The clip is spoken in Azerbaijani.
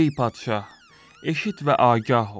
Ey padşah, eşit və agah ol.